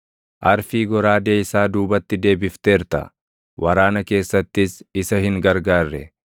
Arfii goraadee isaa duubatti deebifteerta; waraana keessattis isa hin gargaarre.